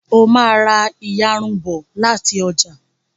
o má rá iyarun bó láti ọjà